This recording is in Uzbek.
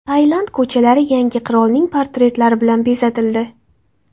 Tailand ko‘chalari yangi qirolning portretlari bilan bezatildi.